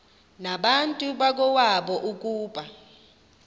nabantu bakowabo ukuba